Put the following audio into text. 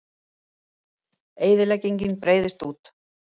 Eyðileggingin breiðist út